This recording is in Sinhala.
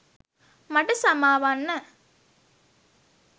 මට සමා වන්න.